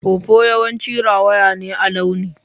Pawpaw yawanci rawaya ne a launi.